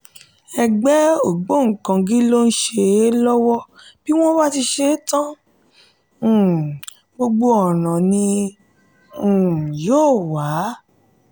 ẹgbẹ́ ògbóǹkangí ló ń ṣe é lọ́wọ́ tí wọ́n bá sì ṣe é tán um gbogbo ọ̀nà ni um yóò wà.